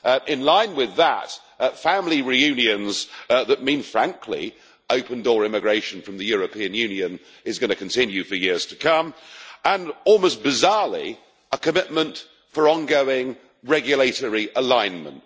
in line with that, family reunions that mean, frankly, that open door immigration from the European Union is going to continue for years to come, and almost bizarrely a commitment for ongoing regulatory alignment.